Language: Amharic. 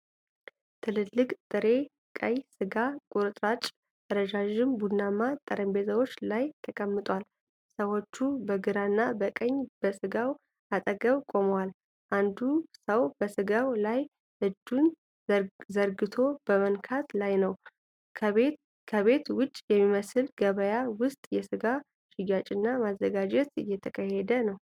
ትልልቅ ጥሬ ቀይ ሥጋ ቁርጥራጮች ረዣዥም ቡናማ ጠረጴዛዎች ላይ ተቀምጠዋል። ሰዎች በግራና በቀኝ በስጋው አጠገብ ቆመዋል። አንዱ ሰው በስጋው ላይ እጁን ዘርግቶ በመንካት ላይ ነው። ከቤት ውጭ በሚመስል ገበያ ውስጥ የስጋ ሽያጭና ማዘጋጀት እየተካሄደ ነው።